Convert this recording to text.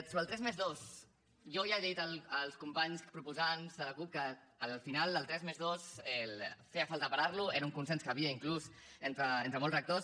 sobre el tres+dos jo ja he dit als companys proposants de la cup que al final el tres+dos feia falta parar lo era un consens que hi havia inclús entre molts rectors